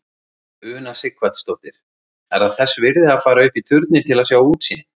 Una Sighvatsdóttir: Er það þess virði að fara upp í turninn til að sjá útsýnið?